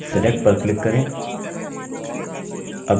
अब select पर click करें